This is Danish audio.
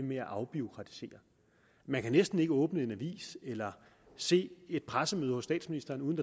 med at afbureaukratisere man kan næsten ikke åbne en avis eller se et pressemøde hos statsministeren uden